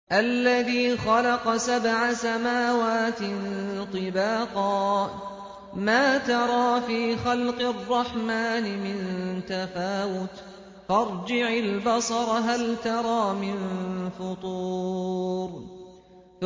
الَّذِي خَلَقَ سَبْعَ سَمَاوَاتٍ طِبَاقًا ۖ مَّا تَرَىٰ فِي خَلْقِ الرَّحْمَٰنِ مِن تَفَاوُتٍ ۖ فَارْجِعِ الْبَصَرَ هَلْ تَرَىٰ مِن فُطُورٍ